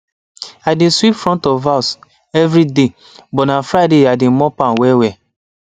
i dey sweep front of house evriday but na friday i dey mop am wellwell